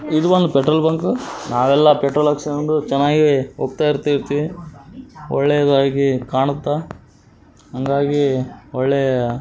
ಇದು ಒಂದು petrol bunk ನಾವೆಲ್ಲ ಪೆಟ್ರೋಲ್ ಹಾಕ್ಸಿಕೊಂಡು ಚೆನ್ನಾಗಿದೆ ಹೊಗ್ತಾ ಇರ್ತೀವಿ ಒಳ್ಳೆಯದಾಗಿ ಕಾಣುತ್ತ ಹಂಗಾಗಿ ಒಳ್ಳೆಯ --